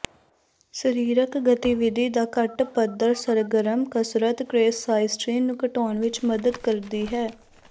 ਸਰੀਰਕ ਗਤੀਵਿਧੀ ਦਾ ਘੱਟ ਪੱਧਰ ਸਰਗਰਮ ਕਸਰਤ ਘਰੇਸਾਈਸਟੀਨ ਨੂੰ ਘਟਾਉਣ ਵਿਚ ਮਦਦ ਕਰਦੀ ਹੈ